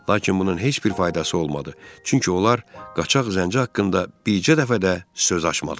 Lakin bunun heç bir faydası olmadı, çünki onlar qaçaq zənci haqqında bircə dəfə də söz açmadılar.